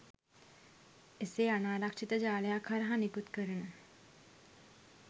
එසේ අනාරක්ෂිත ජාලයක් හරහා නිකුත් කරන